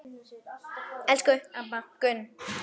Elsku amma Gunn.